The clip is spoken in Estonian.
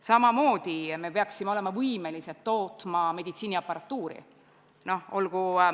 Samamoodi peaksime olema võimelised tootma meditsiiniaparatuuri.